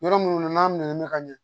Yɔrɔ minnu na n'a mɛnna ka ɲɛ